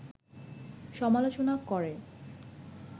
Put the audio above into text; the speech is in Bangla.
সমালোচনা করে